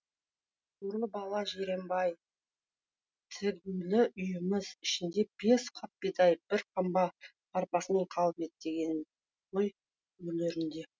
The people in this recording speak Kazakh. сорлы бала жиренбай тігулі үйіміз ішінде бес қап бидай бір қамба арпасымен қалып еді деген ғой өлерінде